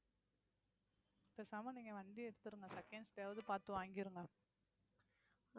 பேசாம நீங்க வண்டிய எடுத்துருங்க. seconds லயாவது பாத்து வாங்கிருங்க.